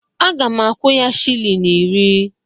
Aga m akwụ ya shilling iri